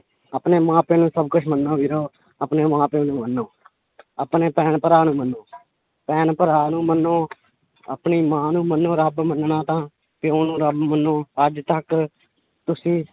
ਆਪਣੇ ਮਾਂ ਪਿਓ ਨੂੰ ਸਭ ਕੁਛ ਮੰਨੋ ਵੀਰੋ ਆਪਣੇ ਮਾਂ ਪਿਓ ਨੂੰ ਮੰਨੋ ਆਪਣੇ ਭੈਣ ਭਰਾ ਨੂੰ ਮੰਨੋ ਭੈਣ ਭਰਾ ਨੂੰ ਮੰਨੋ ਆਪਣੀ ਮਾਂ ਨੂੰ ਮੰਨੋ ਰੱਬ ਮੰਨਣਾ ਤਾਂ ਪਿਓ ਨੂੰ ਰੱਬ ਮੰਨੋ ਅੱਜ ਤੱਕ ਤੁਸੀਂ